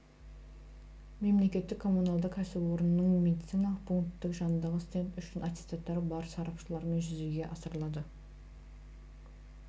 мемлекеттік коммуналдық кәсіпорынның медициналық пункттің жанындағы стенд үшін аттестатты бар сарапшылармен жүзеге асырылады